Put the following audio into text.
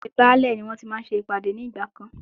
Ilé Baálè ni wọ́n tí máa ń ṣe ìpàdé ní ìgbà kan.